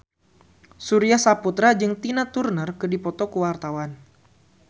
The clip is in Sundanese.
Surya Saputra jeung Tina Turner keur dipoto ku wartawan